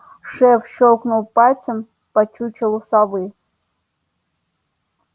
шеф щёлкнул пальцем по чучелу совы